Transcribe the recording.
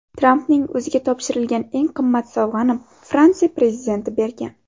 Trampning o‘ziga topshirilgan eng qimmat sovg‘ani Fransiya prezidenti bergan.